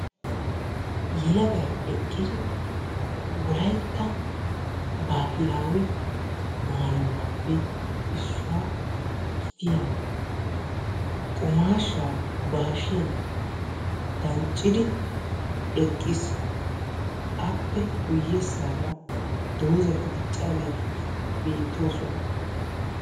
yelagay eqqidi wolaytta baahilawe maayuwaappe issuwaa gidiyaa qumashsha ba hashsiyaan danccidi eqqiis; appe guyyessara doozati diccaageetikka beettoosona.